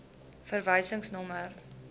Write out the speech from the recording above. verwysingsnommer